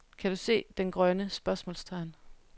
Kan du se den grønne? spørgsmålstegn